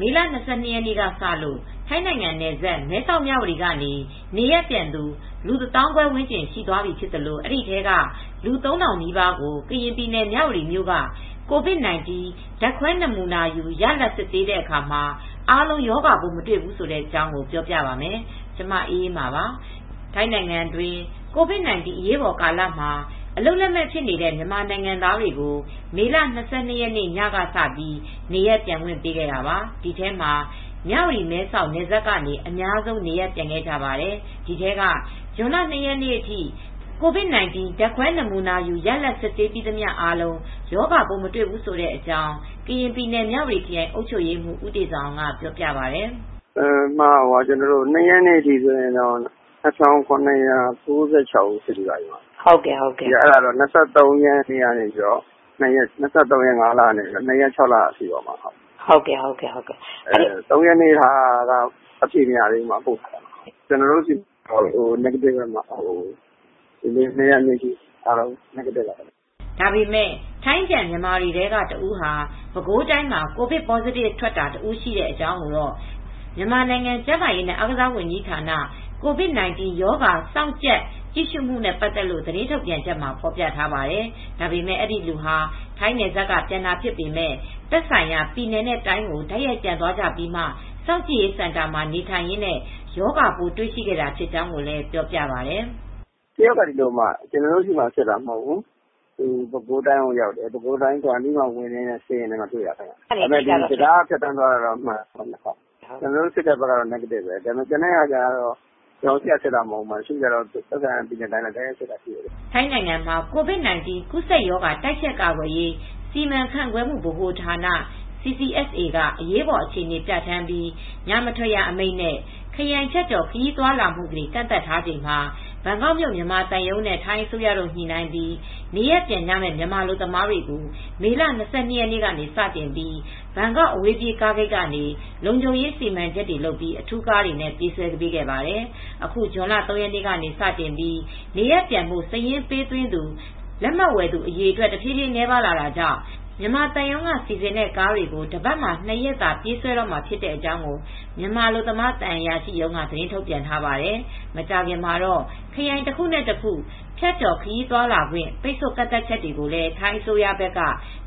မေလ ၂၂ ရက်နေ့ကစလို့ ထိုင်းနိုင်ငံနယ်စပ် မဲဆောက်မြဝတီကနေ နေရပ်ပြန်သူ လူ ၁၅,၀၀၀ ဝန်းကျင်ရှိသွားသလို အဲဒီအထဲ လူ ၃,၀၀၀ နီးပါးကို ကရင်ပြည်နယ် မြဝတီမြို့က COVID -19 ဓါတ်ခွဲနမူနာယူရလဒ်စစ်ဆေးတဲ့အခါ အားလုံး ရောဂါပိုးမတွေ့ဘူးဆိုတဲ့အကြောင်းကို ဗွီအိုအေ မြန်မာပိုင်း သတင်းထောက် မအေးအေးမာက ပြောပြပါမယ်။ ထိုင်းနိုင်ငံတွင်း COVID-19 အရေးပေါ်ကာလမှာ အလုပ်လက်မဲ့ဖြစ်နေတဲ့ မြန်မာနိုင်ငံသားတွေကို မေလ၂၂ ရက်ညကစပြီး နေရပ်ပြန်ခွင့်ပေးခဲ့တာပါ။ ဒီထဲမှာ မြဝတီမဲဆောက်နယ်စပ်ကနေ အများဆုံးနေရပ်ပြန်ခဲ့ကြပါတယ်။ ဒီထဲက ဇွန်လ ၂ ရက်နေ့အထိ COVID -19 ဓါတ်ခွဲနမူနာယူရလဒ်တွေ စစ်ဆေးပြီးသမျှ အားလုံး ရောဂါပိုးမတွေ့ဘူးဆိုတဲ့အကြောင်း ကရင်ပြည်နယ် မဝတီခရိုင်အုပ်ချုပ်ရေးမှူး ဦးတေဇာအောင်က ပြောပါတယ်။ "ဇွန်လ ၂ ရက်နေ့အထိစစ်ပြီးတာ ၂,၇၉၆ ဦး စစ်ပြီးပါပြီ။ မေလ ၂၃ ရက်နေ့ကနေ ဇွန်လ ၂ ရက်နေ့ထိပေါ့။ ဇွန်လ ၃ ရက်နေ့အထိတော့ အဖြေမရသေးဘူး။ အားလုံး negative တွေပါပဲ။" ဒါပေမဲ့ ထိုင်းပြန် မြန်မာတွေထဲက တဦးဟာ ပဲခူးတိုင်းမှာ ကိုဗစ် positive အဖြေထွက်တာတဦးရှိကြောင်းကို မြန်မာနိုင်ငံကျန်းမာရေးနဲ့ အားကစားဝန်ကြီးဌာနက COVID-19 ရောဂါစောင့်ကြပ်ကြည့်ရှု့မှုနဲ့ ပတ်သက်လို့ သတင်းထုတ်ပြန်ချက်မှာ ဖော်ပြပါတယ်။ ဒါပေမဲ့ ဒီလူဟာ ထိုင်းနယ်စပ်က ပြန်တာဖြစ်ပေမဲ့ သက်ဆိုင်ရာ ပြည်နယ်နဲ့ တိုင်းကို တိုက်ရိုက်ပြန်သွားကြပြီးမှ စောင့်ကြည့်ရေးစင်တာမှာ နေထိုင်ရင် ရောဂါပိုးတွေ့ရှိခဲ့တာဖြစ်ကြောင်းပြောပြပါတယ်။ "တယောက်က ဒီလို ကျနော်တို့ဆီမှာ စစ်တာ မဟုတ်ဘူး။ ပဲခူးတိုင်းမှာ စောင့်ကြည့်ရေးစင်တာဝင်ရင်းနဲ့ စစ်တော့မှာတွေ့တာ တံတားကနေ ဖြတ်သန်းသွားလာခဲ့တာ မှန်တယ်။ ဒါပေမဲ့ ကျနော်တို့ စစ်တဲ့ဘက်မှာတော့ negative ပဲ။ သက်ဆိုင်ရာပြည်နယ်နဲ့ တိုင်းရောက်တော့မှ သူတို့ စစ်တာလည်းရှိတယ်။" ထိုင်းနိုင်ငံမှာ COVID-19 ကူးစက်ရောဂါတိုက်ဖျက်ကာကွယ်ရေး စီမံခန့်ခွဲမှုဗဟိုဌာန (CCSA) က အရေးပေါ်အခြေအနေပြဌာန်းပြီး ညမထွက်ရအမိန့်နှင့် ခရိုင်ဖြတ်ကျော်ခရီးသွားလာမှု ကန့်သတ်ထားချိန်မှာ ဘန်ကောက်မြို့ မြန်မာသံရုံးနဲ့ ထိုင်းအစိုးရတို့ ညှိနှိုင်းပြီး နေရပ်ပြန်မဲ့ မြန်မာအလုပ်သမားတွေကို မေလ ၂၂ ရက်စတင်ပြီး ဘန်ကောက်အဝေးပြေးကားဂိတ်ကနေ လုံခြုံရေးစံမံချက်တွေ လုပ်ပြီး အထူးကားတွေနဲ့ ပြေးဆွဲခဲ့ပါတယ်။ အခုဇွန်လ ၃ ရက်နေ့ကစတင်ပြီး နေရပ်ပြန်ဖို့ စာရင်းပေးသွင်းသူ လက်မှတ်ဝယ်သူအရေအတွက် တဖြည်းဖြည်းနည်းပါလာတာကြောင့် မြန်မာသံရုံးက စီစဉ်တဲ့ကားတွေကို တပတ်မှာ ၂ ရက်သာပြေးဆွဲတေ့ာမှာ ဖြစ်ကြောင်းကို မြန်မာအလုပ်သမားသံအရာရှိရုံးက သတင်ထုတ်ပြန်ထားပါတယ်။ မကြာခင်မှာတော့ ခရိုင်တခုနဲ့ ဖြတ်ကျော်ခရီးသွားလာခွင့် ပိတ်ဆို့ကန့်သတ်ချက်တွေကိုလည်း ထိုင်းအစိုးရဘက်က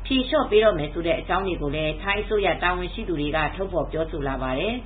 ဖြေလျော့ပေးတော့မယ်ဆိုတဲ့ အကြောင်းတွေကိုလည်း ထိုင်းအစိုးရတာဝန်ရှိသူတွေက ထုတ်ဖော်ပြောဆိုလာပါတယ်။